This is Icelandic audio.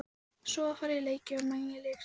Svo var farið í leiki og Mangi lék sér með.